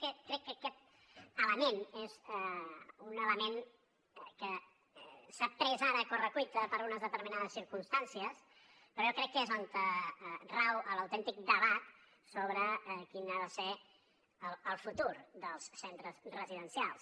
i crec que aquest element és un element que s’ha pres ara a correcuita per unes determinades circumstàncies però jo crec que és on rau l’autèntic debat sobre quin ha de ser el futur dels centres residencials